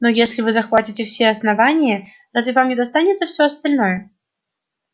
но если вы захватите все основание разве вам не достанется всё остальное